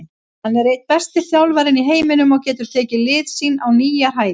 Hann er einn besti þjálfarinn í heiminum og getur tekið lið sín á nýjar hæðir.